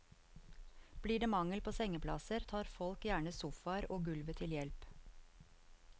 Blir det mangel på sengeplasser, tar folk gjerne sofaer og gulvet til hjelp.